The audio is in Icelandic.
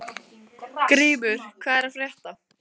Grímur, hvað er að frétta?